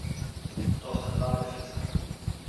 To sta dva meseca.